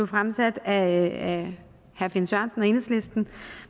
fremsat af herre finn sørensen og enhedslisten